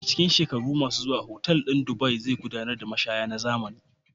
A cikin shekara mai zuwa, otal ɗin Dubai zai gabatar da mashaya na zamani.